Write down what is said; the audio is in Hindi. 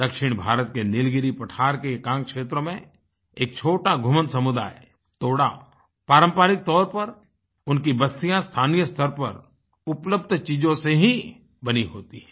दक्षिण भारत के नीलगिरी पठार के एकांत क्षेत्रों में एक छोटा घुमन्तु समुदाय तोड़ा पारंपरिक तौर पर उनकी बस्तियाँ स्थानीय स्थर पर उपलब्ध चीजों से ही बनी होती हैं